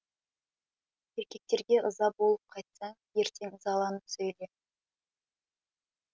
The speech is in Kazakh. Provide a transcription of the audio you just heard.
еркектерге ыза болып қайтсаң ертең ызаланып сөйле